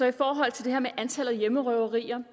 i forhold til det her med antallet af hjemmerøverier